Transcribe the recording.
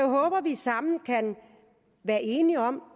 håber at vi sammen kan være enige om